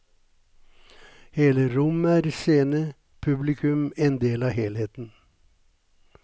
Hele rommet er scene, publikum en del av helheten.